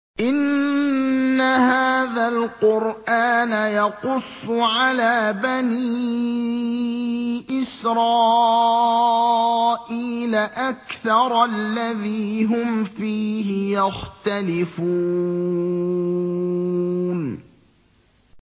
إِنَّ هَٰذَا الْقُرْآنَ يَقُصُّ عَلَىٰ بَنِي إِسْرَائِيلَ أَكْثَرَ الَّذِي هُمْ فِيهِ يَخْتَلِفُونَ